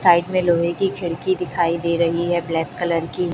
side में लोहे की खिड़की दिखाई दे रही है ब्लैक कलर की--